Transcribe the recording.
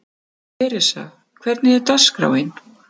Theresa, hvernig er dagskráin?